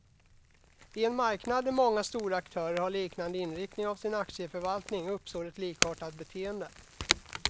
I en marknad där många stora aktörer har liknande inriktning av sin aktieförvaltning, uppstår ett likartat beteende.